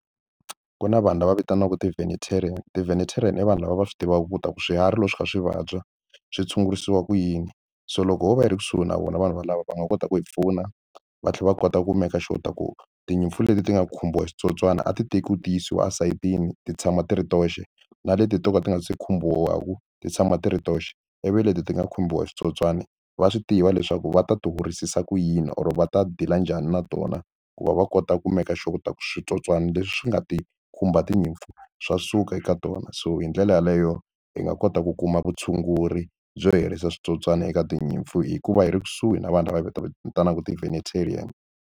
Ku na vanhu lava vitaniwaka ti-venatarian, ti-venetarian i vanhu lava va swi tivaka ku ta ku swiharhi loko swi kha swi vabya swi tshungurisiwa ku yini so loko ho va yi ri kusuhi na vona vanhu valava va nga kota ku hi pfuna va tlhela va kota ku make sure ku tinyimpfu leti ti nga khumbiwa hi switsotswani a ti tekiwa ti yisiwa esayitini ti tshama ti ri toxe na leti to ka ti nga se khumbiwaka ti tshama ti ri toxe ivi leti ti nga khumbiwa hi switsotswani va swi tiva leswaku va ta ti horisisa ku yini or va ta deal-a njhani na tona ku va va kota ku make sure ta switsotswana leswi nga ti khumba tinyimpfu swa suka eka tona so hi ndlela yaleyo hi nga kota ku kuma vutshunguri byo herisa switsotswana eka tinyimpfu hikuva hi ri kusuhi na vanhu lava hi va vitanaka .